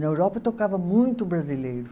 Na Europa eu tocava muito brasileiro.